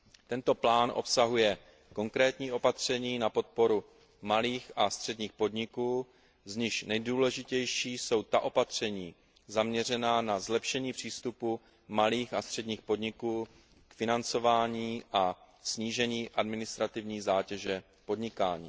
Tento plán obsahuje konkrétní opatření na podporu malých a středních podniků, z nichž nejdůležitější jsou opatření zaměřená na zlepšení přístupu malých a středních podniků k financování a snížení administrativní zátěže podnikání.